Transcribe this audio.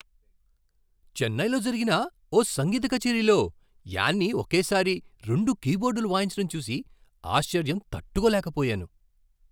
చెన్నైలో జరిగిన ఓ సంగీత కచేరీలో యాన్నీ ఒకేసారి రెండు కీబోర్డులు వాయించటం చూసి ఆశ్చర్యం తట్టుకోలేకపోయాను.